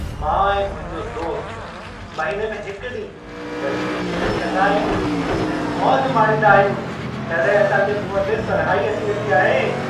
मां ऐं मुंहिंजो दोस्तु महिने में हिकु ॾींहुं गॾिजी नेरनि कंदा आहियूं ऐं मौज माणींदा आहियूं, तॾहिं असां जे मुंहं ते सरहाई अची वेंदी आहे।